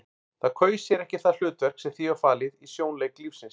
Það kaus sér ekki það hlutverk sem því var falið í sjónleik lífsins.